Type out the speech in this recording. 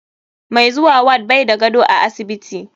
Mai zuwa ward bai da gado a asibiti.